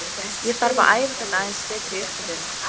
Ég þarf að æfa þetta aðeins betur í upphituninni.